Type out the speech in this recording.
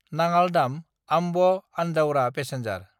नाङाल दाम–आम्ब आन्दाउरा पेसेन्जार